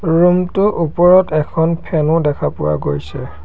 Room টোৰ ওপৰত এখন ফেন ও দেখা পোৱা গৈছে।